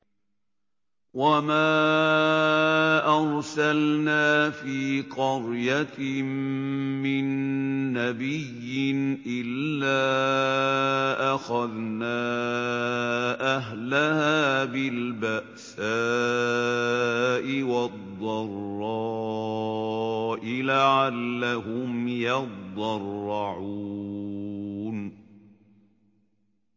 وَمَا أَرْسَلْنَا فِي قَرْيَةٍ مِّن نَّبِيٍّ إِلَّا أَخَذْنَا أَهْلَهَا بِالْبَأْسَاءِ وَالضَّرَّاءِ لَعَلَّهُمْ يَضَّرَّعُونَ